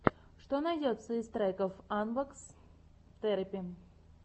что найдется из треков анбокс терэпи